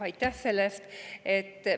Aitäh selle eest!